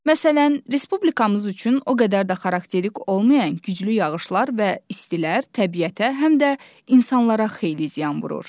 Məsələn, respublikamız üçün o qədər də xarakterik olmayan güclü yağışlar və istilər təbiətə həm də insanlara xeyli ziyan vurur.